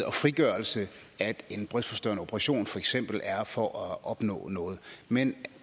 og frigørelse at en brystforstørrende operation for eksempel er for at opnå noget men